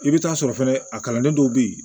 I bɛ taa sɔrɔ fɛnɛ a kalannen dɔw bɛ ye